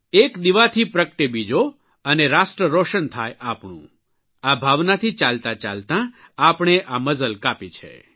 એક દીવાથી પ્રગટે બીજો અને રાષ્ટ્ર રોશન થાય આપણું આ ભાવનાથી ચાલતાં ચાલતાં આપણે આ મઝલ કાપી છે